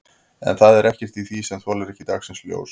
En það er ekkert í því sem þolir ekki dagsins ljós?